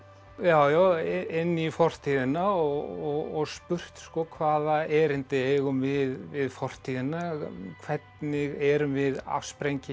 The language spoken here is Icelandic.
já já inn í fortíðina og spurt hvaða erindi eigum við við fortíðina hvernig erum við afsprengi